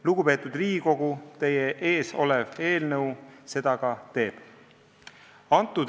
Lugupeetud Riigikogu, teie ees olev eelnõu seda ka teeb.